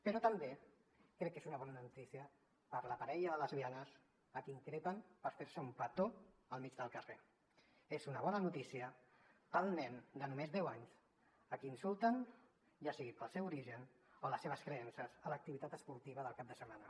però també crec que és una bona notícia per a la parella de lesbianes a qui increpen per fer se un petó al mig del carrer és una bona notícia per al nen de només deu anys a qui insulten ja sigui pel seu origen per les seves creences a l’activitat esportiva del cap de setmana